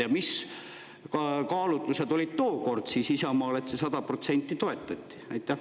Ja mis kaalutlused olid tookord Isamaal, et seda 100% toetati?